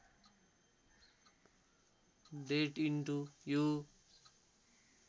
date into you